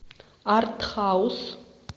артхаус